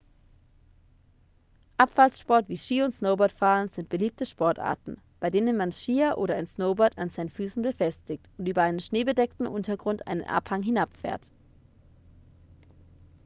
abfahrtssport wie ski und snowboardfahren sind beliebte sportarten bei denen man skier oder ein snowboard an seinen füßen befestigt und über einen schneebedeckten untergrund einen abhang hinabfährt